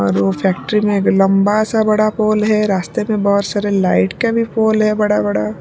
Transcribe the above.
और वो फैक्ट्री में एक लंबा सा बड़ा पोल है रास्ते में बहुत सारे लाइट का भी पोल है बड़ा बड़ा --